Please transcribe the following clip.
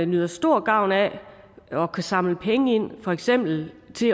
nyder stor gavn af at kunne samle penge ind til for eksempel